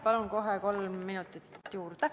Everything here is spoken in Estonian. Palun kohe kolm minutit juurde!